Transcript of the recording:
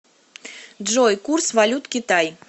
джой курс валют китай